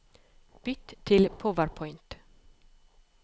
Bytt til PowerPoint